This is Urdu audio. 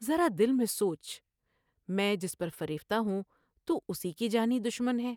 ذرا دل میں سوچ میں جس پر فریفتہ ہوں تو اس کی جانی دشمن ہے ۔